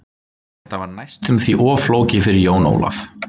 Þetta var næstum því of flókið fyrir Jón Ólaf.